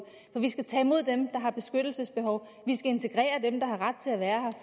for vi skal tage imod dem der har et beskyttelsesbehov vi skal integrere dem der har ret til at være